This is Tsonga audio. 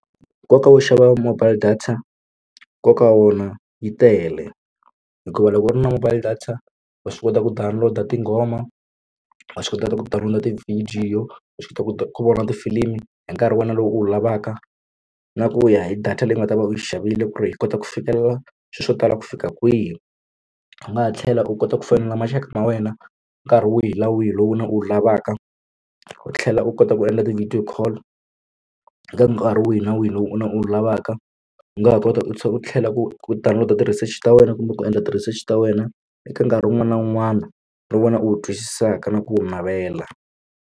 Nkoka wo xava mobile data nkoka wa wona yi tele hikuva loko u ri na mobile data wa swi kota ku download-a tinghoma wa swi kota ku download-a tivhidiyo wa swi kota ku vona tifilimi hi nkarhi wa wena lowu u wu lavaka na ku ya hi data leyi nga ta va u xavile ku ri hi kota ku fikelela swilo swo tala ku fika kwihi u nga ha tlhela u kota ku fonela maxaka ma wena nkarhi wihi na wihi lowu u wu lavaka u tlhela u kota ku endla ti-video call eka nkarhi wihi na wihi lowu u lavaka u nga ha kota u tlhela u tlhela ku download a ti research ta wena kumbe ku endla ti-research ta wena eka nkarhi wun'wana na wun'wana no vona u wu twisisaka na ku wu navela.